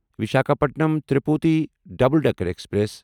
Visakhapatnam Tirupati double decker express